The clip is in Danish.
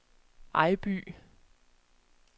Ejby